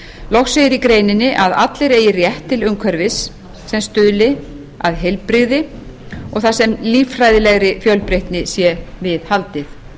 loks segir í greininni að allir eigi rétt til umhverfis sem stuðli að heilbrigði og þar sem líffræðilegri fjölbreytni sé viðhaldið